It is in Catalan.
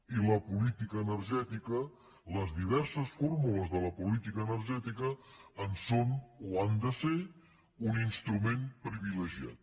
i la política energètica les diverses fórmules de la política energètica en són o han de ser un instrument privilegiat